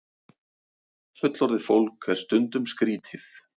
Fullorðið fólk er stundum skrítið.